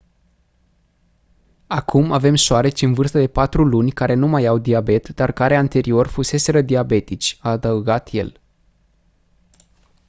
acum avem șoareci în vârstă de 4 luni care nu mai au diabet dar care anterior fuseseră diabetici a adăugat el